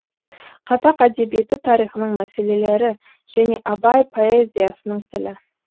қазақ әдебиеті тарихының мәселелері және абай поэзиясының тілі